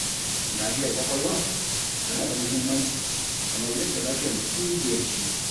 Lafiyar ƙwaƙwalwa tana da muhimmanci, kamar yadda lafiyar jiki ke da shi.